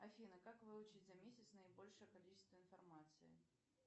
афина как выучить за месяц наибольшее количество информации